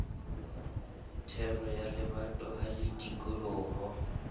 thero ya lebatowa le tikoloho